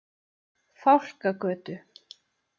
Fálkagötu